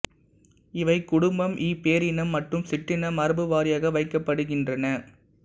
இவை குடும்பம் இ பேரினம் மற்றும் சிற்றின மரபுவாரியாக வைக்கப்படுகின்றன